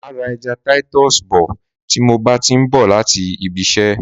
Máa ra ẹja titus bọ̀ tí mo bá ti ń bọ̀ láti ibi isẹ́.